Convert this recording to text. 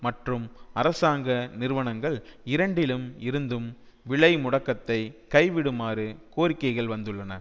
மற்றும் அரசாங்க நிறுவனங்கள் இரண்டிலும் இருந்தும் விலை முடக்கத்தை கைவிடுமாறு கோரிக்கைகள் வந்துள்ளன